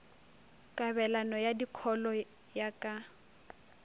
kabelano ya dikholo ya ka